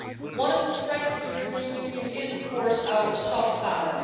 One of the strengths of the European Union is of course our soft power.